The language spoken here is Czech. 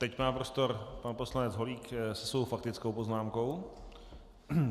Teď má prostor pan poslanec Holík se svou faktickou poznámkou.